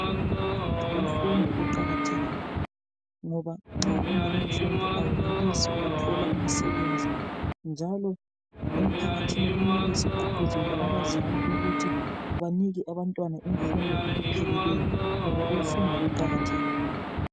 Imfundo iqakathekile ngoba nxa ungelamfundo awenelisi ukuthola umsebenzi njalo emphakathini kumele siqhuqhuzele abazali ukuthi banike abantwana imfundo ngokupheleleyo ngoba ukufunda kuqakathekile.